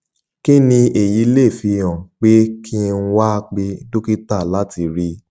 kí ni èyí lè fi hàn pé kí n wá pè dókítà láti rí i